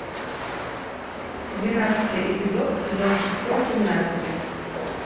двенадцатый эпизод сезон шестой гимнастки